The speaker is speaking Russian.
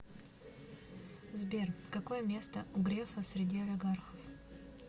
сбер какое место у грефа среди олигархов